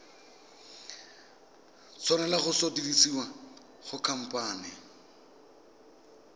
tshwanela go sutisediwa go khamphane